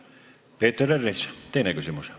Peeter Ernits, teine küsimus.